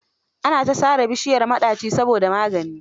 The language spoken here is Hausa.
Ana ta sare bishiyar maɗaci saboda magani.